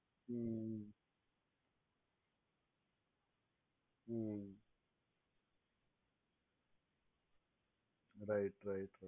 hmm hmm right right